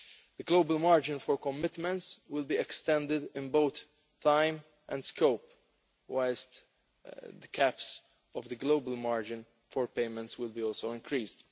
The global margin for commitments will be extended in both time and scope whilst the caps of the global margin for payments will also be increased.